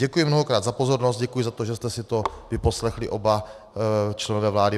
Děkuji mnohokrát za pozornost, děkuji za to, že jste si to vyposlechli oba členové vlády.